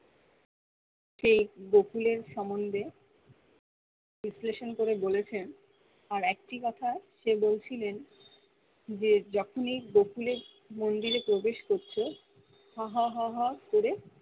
সে গোকুলের সম্বন্ধে বিশ্লেষণ করে বলেছেন আর একটি কথা সে বলছিলেন যে যখনি গোগুলের মন্দিরের প্রবেশ করছো হা হা হা করে